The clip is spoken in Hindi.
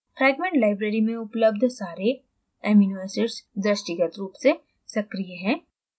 fragment library में उपलब्ध सारे amino acids दृष्टिगत रूप से सक्रीय हैं